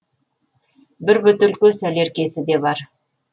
бір бөтелке сәлеркесі де бар